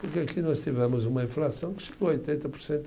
Porque aqui nós tivemos uma inflação que chegou a oitenta por cento